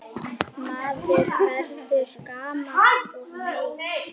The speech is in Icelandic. Maður verður gamall og meyr.